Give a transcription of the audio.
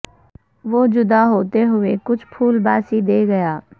وہ جدا ہوتے ہوئے کچھ پھول باسی دے گیا